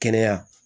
Kɛnɛya